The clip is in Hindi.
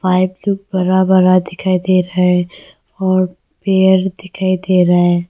बरा बरा दिखाई दे रहा है और पेर दिखाई दे रहा है।